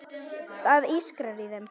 Það ískrar í þeim.